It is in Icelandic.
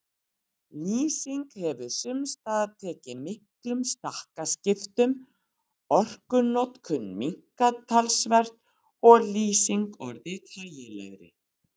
Lýsing hefur sums staðar tekið miklum stakkaskiptum, orkunotkun minnkað talsvert og lýsing orðið þægilegri.